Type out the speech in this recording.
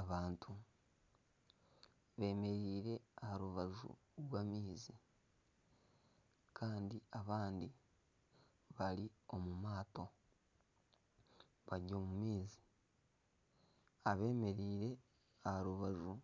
Abantu beemereire aha rubaju rw'amaizi, kandi abandi bari omu maato bari omu maizi abeemereire bari omu maizi aha rubaju